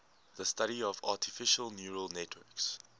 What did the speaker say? the study of artificial neural networks